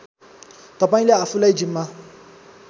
तपाईँले आफूलाई जिम्मा